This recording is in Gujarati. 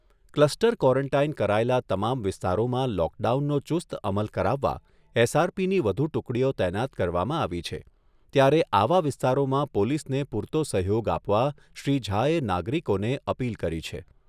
ક્લસ્ટર કવોરંટાઈન કરાયેલા તમામ વિસ્તારોમાં લોકડાઉનનો ચુસ્ત અમલ કરાવવા એસઆરપીની વધુ ટુકડીઓ તૈનાત કરવામાં આવી છે ત્યારે આવા વિસ્તારોમાં પોલીસને પૂરતો સહયોગ આપવા શ્રી ઝાએ નાગરિકોને અપીલ કરી છે.